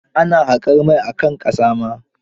Oil excavation is also done on land.